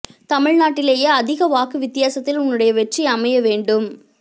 தமிழ்நாட்டிலேயே அதிக வாக்கு வித்தியாசத்தில் உன்னுடைய வெற்றி அமைய வேண்டும்